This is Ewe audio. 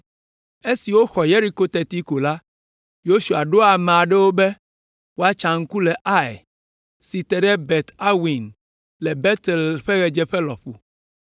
Esi woxɔ Yeriko teti ko la, Yosua ɖo ame aɖewo ɖa be woatsa ŋku le Ai, si te ɖe Bet Aven le Betel ƒe ɣedzeƒe lɔƒo.